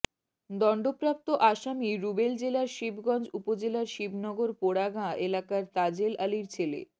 দণ্ডপ্রাপ্ত আসামি রুবেল জেলার শিবগঞ্জ উপজেলার শিবনগর পোড়া গাঁ এলাকার তাজেল আলীর ছেলে